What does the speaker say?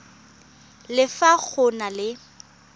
le fa go na le